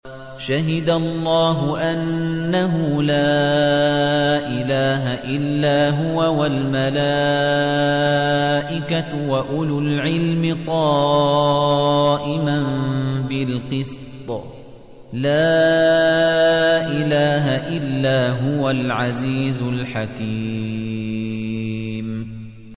شَهِدَ اللَّهُ أَنَّهُ لَا إِلَٰهَ إِلَّا هُوَ وَالْمَلَائِكَةُ وَأُولُو الْعِلْمِ قَائِمًا بِالْقِسْطِ ۚ لَا إِلَٰهَ إِلَّا هُوَ الْعَزِيزُ الْحَكِيمُ